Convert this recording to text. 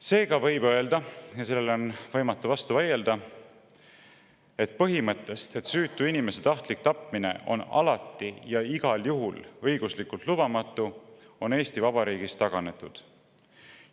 Seega võib öelda – ja sellele on võimatu vastu vaielda –, et põhimõttest, mille kohaselt süütu inimese tahtlik tapmine on alati ja igal juhul õiguslikult lubamatu, on Eesti Vabariigis taganetud.